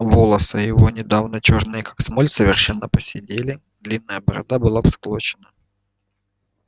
волосы его недавно чёрные как смоль совершенно поседели длинная борода была всклокочена